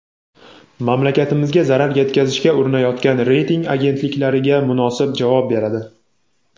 mamlakatimizga zarar yetkazishga urinayotgan reyting agentliklariga munosib javob beradi.